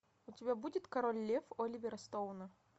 у тебя будет король лев оливера стоуна